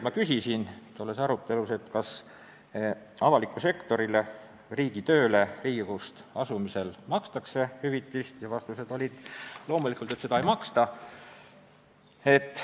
Ma küsisin selles arutelus, kas Riigikogust avalikku sektorisse, riigitööle asumisel makstakse hüvitist, ja vastus oli, et loomulikult seda ei maksta.